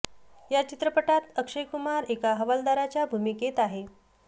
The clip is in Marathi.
या चित्रटात अक्षय कुमार एका हवालदाराच्या भूमिकेत आहे